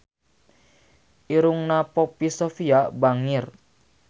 Irungna Poppy Sovia bangir